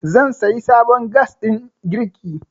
zan sayi sabon gas ɗin girki